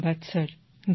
ধন্যবাদ স্যার